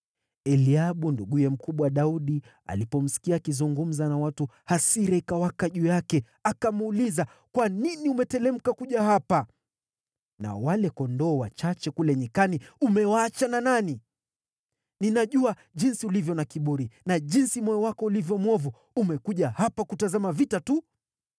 Eliabu nduguye mkubwa Daudi alipomsikia akizungumza na watu hasira ikawaka juu yake akamuuliza, “Kwa nini umeteremka kuja hapa? Nao wale kondoo wachache kule nyikani umewaacha na nani? Ninajua jinsi ulivyo na kiburi na jinsi moyo wako ulivyo mwovu; umekuja hapa kutazama vita tu.”